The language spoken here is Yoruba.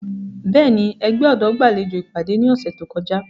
Bẹ́ẹ̀ni, ẹgbẹ ọdọ gbalejo ipade ni ọsẹ to kọja.